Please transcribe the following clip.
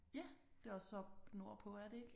Ja det er også oppe nordpå er det ikke?